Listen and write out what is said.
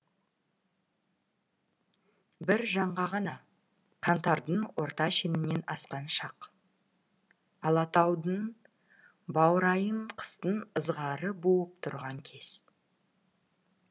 бір жанға ғана қаңтардың орта шенінен асқан шақ алатаудың баурайын қыстың ызғары буып тұрған кез